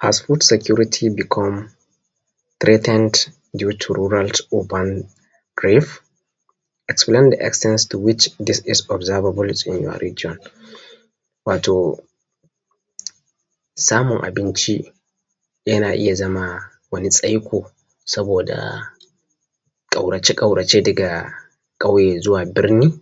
Has food security become treatent due to rural urban gribe explain the external to which this is observabul in your region. Wato samun abinci yana iya zama wani tsaiko saboda ƙaurace ƙaurace daga ƙauye zuwa birni,